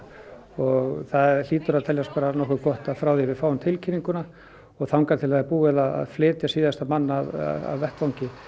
og það hlýtur að teljast nokkuð gott að frá því að við fáum tilkynninguna og þangað til búið er að flytja síðasta mann af vettvangi